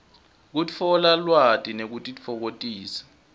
kutfola lwati nekutitfokotisa